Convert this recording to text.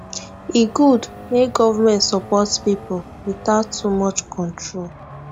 e good make government support pipo without too much control